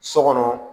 So kɔnɔ